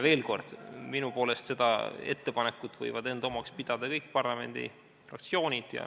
Veel kord, minu poolest võivad seda ettepanekut enda omaks pidada kõik parlamendifraktsioonid.